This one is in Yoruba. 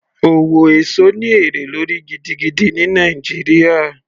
Owó èso ní èrè lórí gidigidi ní Nàìjíríà